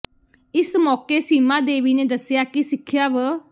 ਇਸ ਮੌਕੇ ਸੀਮਾ ਦੇਵੀ ਨੇ ਦੱਸਿਆ ਕਿ ਸਿੱਖਿਆ ਵ